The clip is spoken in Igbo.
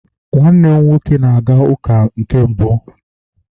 nwannem nwoke na-aga uka na nke mbu